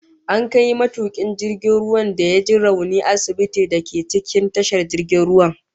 An kai matukin jirgin ruwan da ya ji rauni asibitin da ke cikin tashar jirgin ruwan